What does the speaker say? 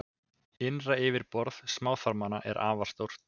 Innra yfirborð smáþarmanna er afar stórt.